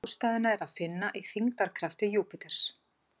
Ástæðuna er að finna í þyngdarkrafti Júpíters.